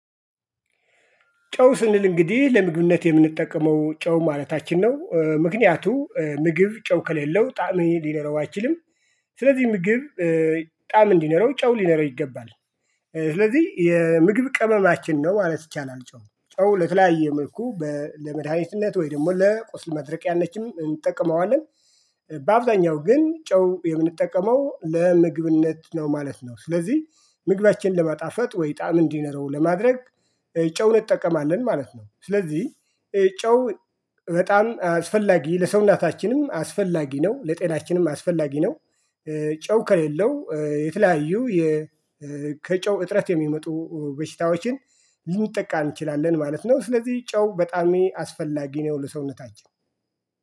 ጨው ስንል እንግዲህ ለምግብነት የምንጠቀመው ጨው ማለታችን ነው። ምክንያቱም ምግብ ጨው ከሌለው ጣዕም ሊኖረው አይችልም። ስለዚህ ምግብ ጣዕም እንዲኖረው ጨው ሊኖረው ይገባል። ስለዚህ የምግብ ቅመማችን ነው ማለት ይቻላል። ጨው ለተለያየ መልኩ ለመድኃኒትነት ወይ ደግሞ ለቁስል ማድረቅያነትም እንጠቀመዋለን። በአብዛኛው ግን ጨው የምንጠቀመው ለምግብነት ነው ማለት ነው። ስለዚህ ምግባችንን ለማጣፈጥ ወይ ጣዕም እንዲኖረው ለማድረግ ጨው እንጠቀማለን ማለት ነው። ስለዚህ ጨው በጣም አስፈላጊ ለሰውናታችንም አስፈላጊ ነው ለጤናችንም አስፈላጊ ነው። ጨው ከሌለው የተለያዩ ከጨው እጥረት የሚመጡ በሽታዎችን ልንጠቃ እንችላለን ማለት ነው። ስለዚህ ጨው በጣም አስፈላጊ ነው ለሰውነታቸው